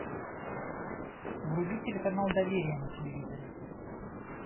вруби телеканал доверие на телевизоре